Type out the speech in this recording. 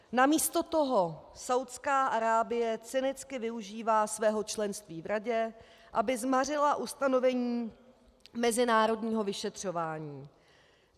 Namísto toho Saúdská Arábie cynicky využívá svého členství v radě, aby zmařila ustanovení mezinárodního vyšetřování.